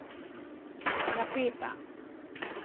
Napeta.